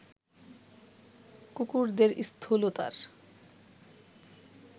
কুকুরদের স্থূলতার